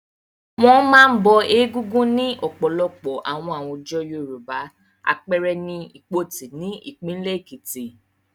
Wọ́n máa ń bọ Egúngún ní ọ̀pọ̀lọpọ̀ àwọn àwùjọ Yorùbá, àpẹẹrẹ I Ìpoti ní ìpínlẹ̀ Èkìtì.